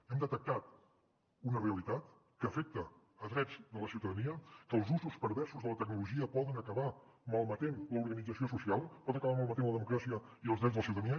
hem detectat una realitat que afecta drets de la ciutadania que els usos perversos de la tecnologia poden acabar malmetent l’organització social poden acabar malmetent la democràcia i els drets de la ciutadania